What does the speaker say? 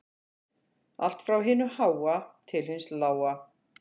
Allt frá hinu háa til hins lága